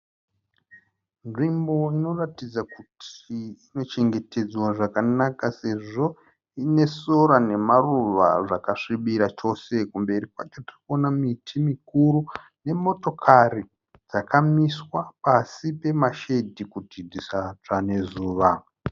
Nzvimbo inoratidza kuti inochengetedzwa zvakanaka sezvo ine sora nemaruva zvakasvibira chose. Kumberi kwacho kune miti mikuru nemotari dzakamiswa pasi pemashedhi kuti dzisatsva nezuva.